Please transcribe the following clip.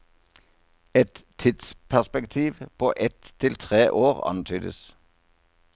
Et tidsperspektiv på ett til tre år antydes.